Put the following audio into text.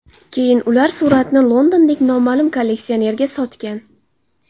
Keyin ular suratni londonlik noma’lum kolleksionerga sotgan.